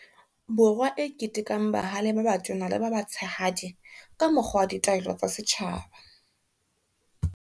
Borwa e ketekang bahale ba batona le ba batshehadi ka mokgwa wa ditaelo tsa setjhaba.